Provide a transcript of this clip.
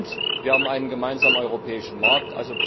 Und wir haben einen gemeinsamen europäischen Markt.